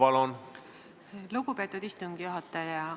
Aitäh, lugupeetud istungi juhataja!